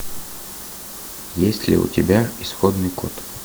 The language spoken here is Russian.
есть ли у тебя исходный код